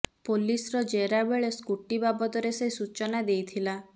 ପୋଲିସର ଜେରା ବେଳେ ସ୍କୁଟି ବାବଦରେ ସେ ସୂଚନା ଦେଇଥିଲା